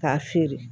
K'a feere